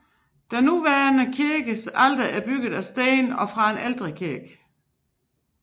Den nuværende kirkes alter er bygget af sten fra en ældre kirke